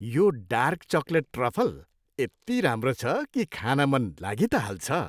यो dark chocolate truffle यत्ति राम्रो छ किखान मन लागी त हाल्छ।